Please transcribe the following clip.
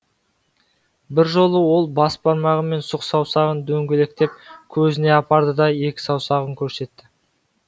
бір жолы ол бас бармағы мен сұқ саусағын дөңгелектеп көзіне апарды да екі саусағын көрсетті